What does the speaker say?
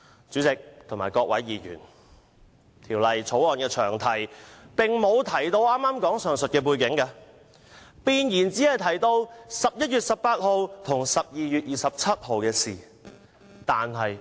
主席和各位議員，《條例草案》的詳題並無提到上述背景，弁言只提到11月18日和12月27日的事宜。